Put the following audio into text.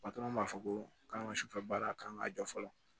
m'a fɔ ko k'an ka sufɛ baara k'an ka jɔ fɔlɔ